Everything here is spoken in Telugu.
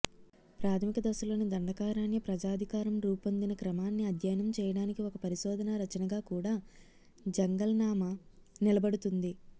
ప్రాథమిక దశలోని దండకారణ్య ప్రజాధికారం రూపొందిన క్రమాన్ని అధ్యయనం చేయడానికి ఒక పరిశోధనా రచనగా కూడా జంగల్నామా నిలబడుతుంది